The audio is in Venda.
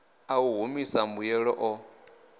a u humisa mbuyelo o